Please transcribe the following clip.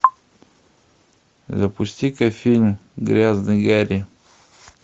запусти ка фильм грязный гарри